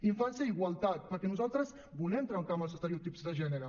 infància i igualtat perquè nosaltres volem trencar amb els estereotips de gènere